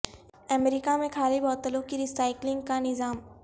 امریکہ میں خالی بوتلوں کی ری سائیکلنگ کا نظام